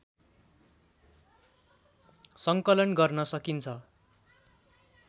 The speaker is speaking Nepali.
सङ्कलन गर्न सकिन्छ